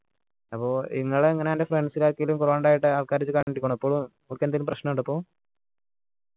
അപ്പോ ഇങ്ങളെ എങ്ങനെ അൻ്റെ friends ൽ ആർക്കെങ്കിലും corona ഇണ്ടായിട്ട് ആൾക്കാർ ഇപ്പോളും ഓർക്ക് എന്തേലും പ്രശ്നം ഇണ്ട ഇപ്പോ